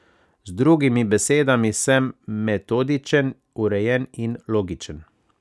Z drugimi besedami, sem metodičen, urejen in logičen.